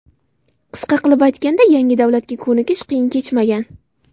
Qisqa qilib aytganda, yangi davlatga ko‘nikish qiyin kechmagan.